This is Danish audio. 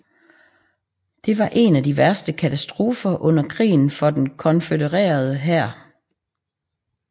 Det var en af de værste katastrofer under krigen for den konfødererede hær